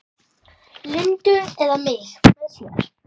Lindu eða mig með sér.